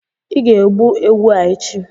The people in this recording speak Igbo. ị ga egbu ewu a echi!